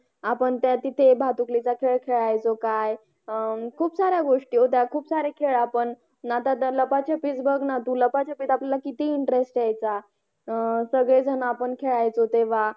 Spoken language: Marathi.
Theri practical असे दाखवले जातात.